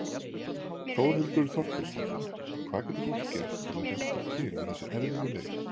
Þórhildur Þorkelsdóttir: Hvað getur fólk gert til að hjálpa til við þessa erfiðu leit?